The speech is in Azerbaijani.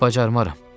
Bacarmaram.